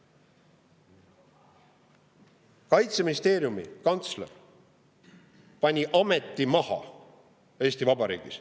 Eesti Vabariigi Kaitseministeeriumi kantsler pani ameti maha.